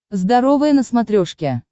здоровое на смотрешке